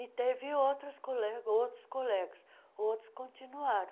E teve outros colegas outros colegas, outros continuaram.